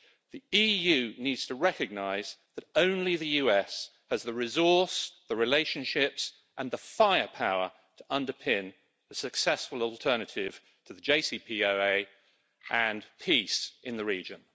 The EU needs to recognise that only the US has the resource, the relationships and the firepower to underpin the successful alternative to the JCPOA and peace in the region.